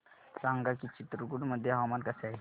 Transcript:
सांगा की चित्रकूट मध्ये हवामान कसे आहे